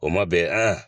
O ma bɛn a